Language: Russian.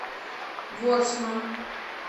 ворсма